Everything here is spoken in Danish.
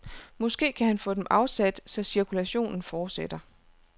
Måske kan han få dem afsat, så cirkulationen fortsætter.